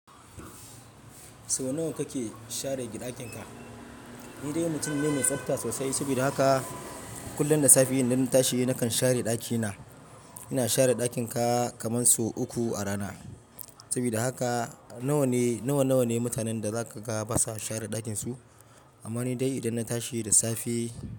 Sau nawa kake share gi ɗakinka? Ni dai mutum ne mai tsafta sosai. Saboda haka kullum da safe idan na tashi nakan share ɗakina. Ina share ɗakin ka kamar sau uku a rana. Saboda haka nawa ne, nawa, nawa ne mutanen da za ka ga ba sa share ɗakin su? Amma ni dai idan na tashi da safe.